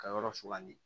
Ka yɔrɔ sugandi